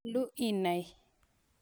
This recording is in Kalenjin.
Nyalu inai.